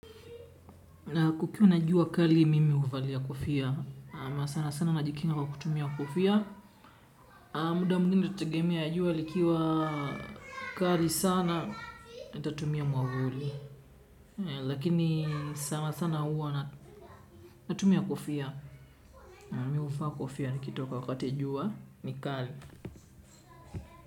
Na kukiwa na jua kali mimi huvalia kofia. Na sana sana najikinga kwa kutumia kofia. Muda mwingine natagemea jua likiwa kali sana nitatumia mwavuli. Lakini sana sana hua natumia kofia. Mimi huvaa kofia nikitoka wakati jua ni kali.